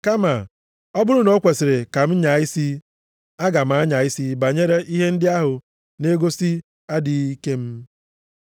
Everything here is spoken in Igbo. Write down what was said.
Kama ọ bụrụ na o kwesiri ka m nyaa isi aga m anya isi banyere ihe ndị ahụ na-egosi adịghị ike m.